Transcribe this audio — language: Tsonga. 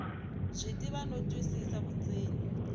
byi tiva no twisisa vundzeni